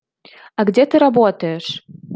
а где ты работаешь